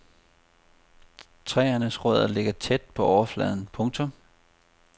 Træernes rødder ligger tæt på overfladen. punktum